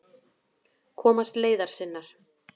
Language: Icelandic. Komast leiðar sinnar.